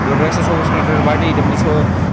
ধরে রাখসে সবুজ কালারের বাটি এটার মধ্যে স--